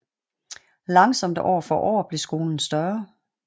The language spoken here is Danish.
Langsomt år for år blev skolen større